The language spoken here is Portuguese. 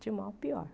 De mal, à pior.